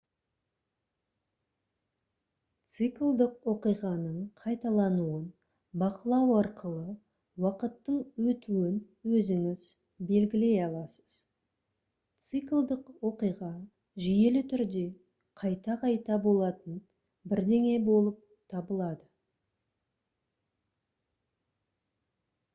циклдік оқиғаның қайталануын бақылау арқылы уақыттың өтуін өзіңіз белгілей аласыз циклдік оқиға жүйелі түрде қайта-қайта болатын бірдеңе болып табылады